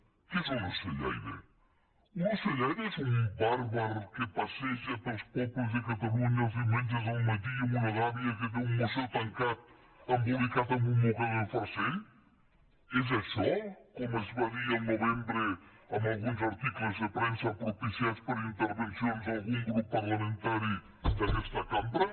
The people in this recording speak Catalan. què és un ocellaire un ocellaire és un bàrbar que es passeja pels pobles de catalunya els diumenges al matí amb una gàbia que té un moixó tancat embolicat amb un mocador de farcell és això com es va dir al novembre en alguns articles de premsa propiciats per intervencions d’algun grup parlamentari d’aguesta cambra